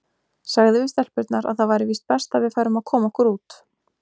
Sagði við stelpurnar að það væri víst best að við færum að koma okkur út.